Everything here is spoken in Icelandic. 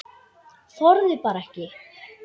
Þorði bara ekki.